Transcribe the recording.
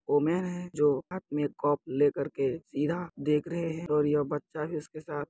woman है जो हाथ में कप लेकर के सीधा देख रहे है और यह बच्चा भी उसके साथ --